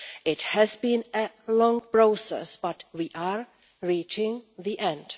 It has been a long process, but we are reaching the end.